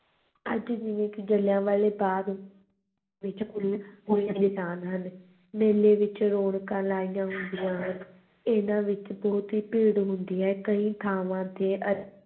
ਅੱਜ ਵੀ ਜਿਲ੍ਹਿਆਂਵਾਲੇ ਬਾਗ਼ ਵਿੱਚ ਨਿਸ਼ਾਨ ਹਨ, ਮੇਲੇ ਵਿੱਚ ਰੌਣਕਾਂ ਲਾਈਆਂ ਹੁੰਦੀਆਂ ਹਨ, ਇਹਨਾਂ ਵਿੱਚ ਬਹੁਤ ਹੀ ਭੀੜ ਹੁੰਦੀ ਹੈ ਕਈ ਥਾਵਾਂ ਤੇ